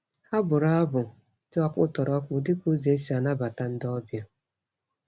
Ha bụrụ abụ dị ọkpụtọrọkpụ dị ka ụzọ e si anabata ndị ọbịa.